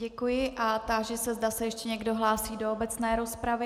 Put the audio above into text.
Děkuji a táži se, zda se ještě někdo hlásí do obecné rozpravy.